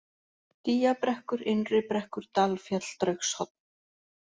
Dýjabrekkur, Innribrekkur, Dalfjall, Draugshorn